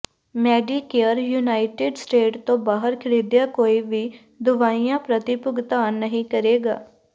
Medicare United State ਤੋਂ ਬਾਹਰ ਖਰੀਦੀਆਂ ਕੋਈ ਵੀ ਦਵਾਈਆਂ ਪ੍ਰਤੀ ਭੁਗਤਾਨ ਨਹੀਂ ਕਰੇਗਾ